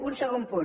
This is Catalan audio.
un segon punt